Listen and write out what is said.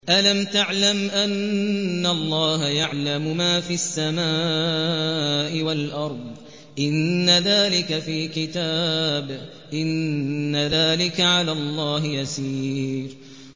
أَلَمْ تَعْلَمْ أَنَّ اللَّهَ يَعْلَمُ مَا فِي السَّمَاءِ وَالْأَرْضِ ۗ إِنَّ ذَٰلِكَ فِي كِتَابٍ ۚ إِنَّ ذَٰلِكَ عَلَى اللَّهِ يَسِيرٌ